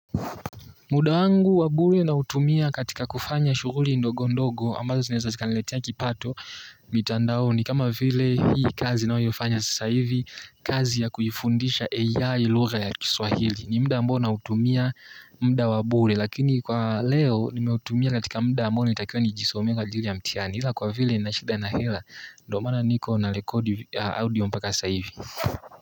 Muda wangu wa bure nautumia katika kufanya shughuli ndogo ndogo ambazo zinaeza zikaniletea kipato mitandaoni kama vile hii kazi ninaoyofanya sasa hivi kazi ya kuifundisha AI lugha ya kiswahili ni muda ambao nautumia muda wa bure lakini kwa leo nimeutumia katika muda ambao natakikana nijisomee kwa ajili ya mtihani ila kwa vile nina shida na hela ndo maana niko narekodi audio mpaka sasa hivi.